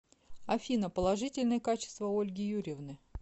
афина положительные качества ольги юрьевны